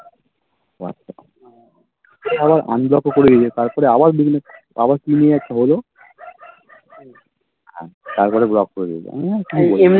আমি যত করি তারপরে আবার কি নিয়ে একটা হলো তারপরে Block করে দিয়েছে আমি বললাম ঠিক আছে